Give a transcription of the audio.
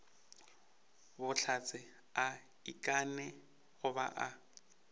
bohlatse a ikanne goba a